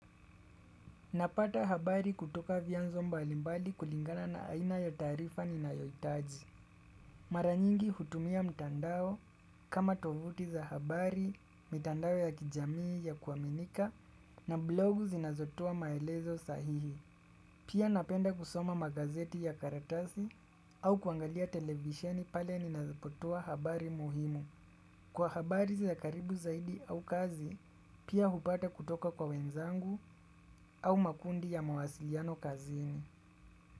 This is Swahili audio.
Napata habari kutoka vya nzo mbalimbali kulingana na aina ya taarifa ni nayoitaji. Maranyingi hutumia mtandao kama tovuti za habari, mitandao ya kijamii ya kuaminika na blogu zinazotoa maelezo sahihi. Pia napenda kusoma magazeti ya karatasi au kuangalia televisheni pale ninapotoa habari muhimu. Kwa habari za karibu zaidi au kazi, pia hupata kutoka kwa wenzangu au makundi ya mawasiliano kazini.